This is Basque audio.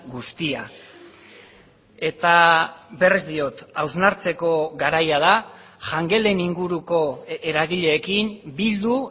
guztia eta berriz diot hausnartzeko garaia da jangelen inguruko eragileekin bildu